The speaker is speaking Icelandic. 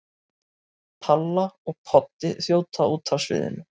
Palla og Poddi þjóta út af sviðinu.